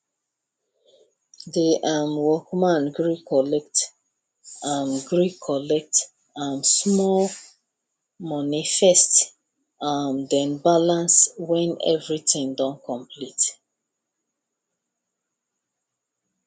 the um workman gree collect um gree collect um small money first um then balance when everything don complete